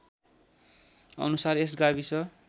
अनुसार यस गाविस